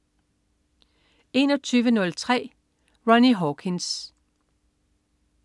21.03 Ronnie Hawkins